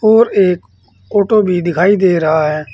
और एक ऑटो भी दिखाई दे रहा है।